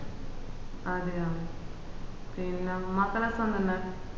അതെയോ പിന്നാ മക്കൾ ഒക്കെ സുഖം തന്നെ